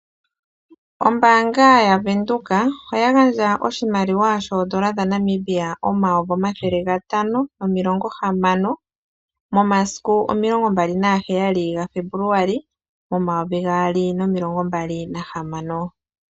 Ombaanga ya Windhoek oya gandja oshimaliwa shoondola dha Namibia 560 000.00 momasiku 27.02.2026.